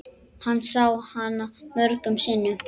Hann sá hana mörgum sinnum.